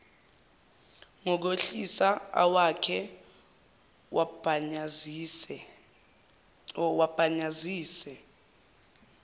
ngokwehlisa awakhe wabhanyazise